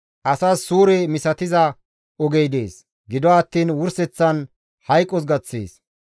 Asas suure misatiza ogey dees; gido attiin wurseththan hayqos gaththees.